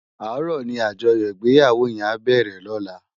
Àárò ni ájòyò igbéyáwó yèn á bèrè lòlá